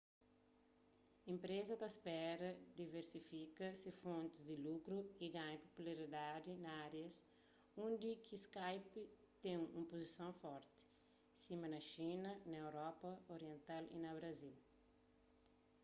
enpreza ta spera diversifika se fontis di lukru y ganha popularidadi na árias undi ki skype ten un puzison forti sima na xina na europa oriental y na brazil